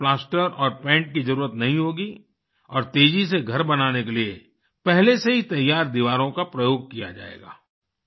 इसमें प्लास्टर और पैंट की जरुरत नहीं होगी और तेजी से घर बनाने के लिए पहले से ही तैयार दीवारों का प्रयोग किया जाएगा